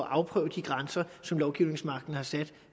at afprøve de grænser som lovgivningsmagten har sat